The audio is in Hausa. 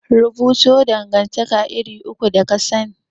Rubuto dangantaka iri uku da kasani?